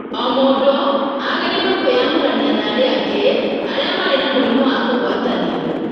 O mũndũ agĩrĩirũo kwĩyamũrania na arĩa angĩ arĩa marĩ na mũrimũ wa kũgwatanio.